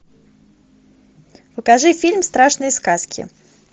покажи фильм страшные сказки